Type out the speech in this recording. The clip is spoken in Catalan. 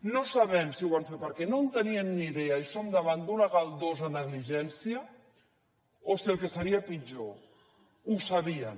no sabem si ho van fer per què no en tenien ni idea i som davant d’una galdosa negligència o si el que seria pitjor ho sabien